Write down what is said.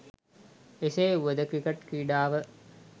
එසේ වුවද ක්‍රිකට් ක්‍රීඩාව